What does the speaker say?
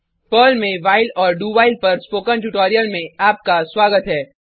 Perl में while और do while पर स्पोकन ट्यूटोरियल में आपका स्वागत है